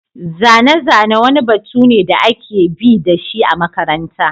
Zane-zane wani batu ne da ake bi da shi a makaranta.